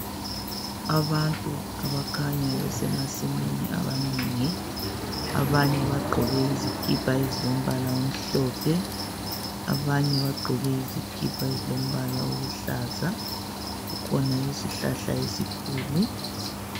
Abantu abakhanya besemasimini abanengi abanye bagqoke izikipa ezilombala omhlophe abanye bagqoke izikipa ezilombala oluhlaza kukhona isihlahla esikhulu.